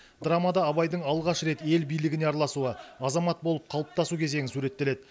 драмада абайдың алғаш рет ел билігіне араласуы азамат болып қалыптасу кезеңі суреттеледі